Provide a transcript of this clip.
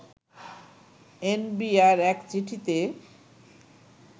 NBR এক চিঠিতে